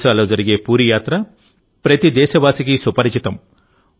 ఒరిస్సాలో జరిగే పూరీ యాత్ర ప్రతి దేశవాసికీ సుపరిచితం